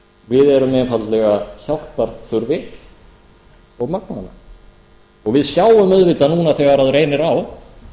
við erum einfaldlega hjálparþurfi og magnvana við sjáum auðvitað núna þegar reynir á